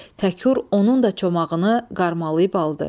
Təkur onun da çomağını qarmalayıb aldı.